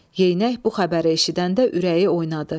Yeynək bu xəbəri eşidəndə ürəyi oynadı.